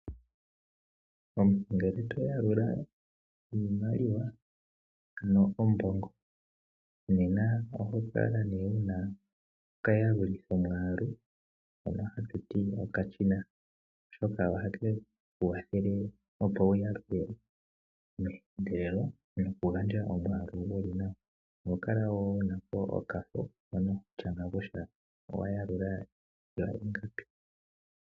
Omuntu ngele toyalula iimaliwa, ano ombogo nena oho kala nduno una okayalulithomwaalu, hono hatuti okashina, oshoka oha keku kwathele opo uyalule meendelelo, nokugandja omwaalu guli nawa. Oho kala wo unapo okafo mpono hoshanga kutya owayalula wa ingapi.